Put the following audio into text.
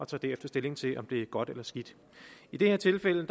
tager derefter stilling til om det er godt eller skidt i det her tilfælde